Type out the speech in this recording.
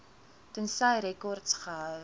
tensy rekords gehou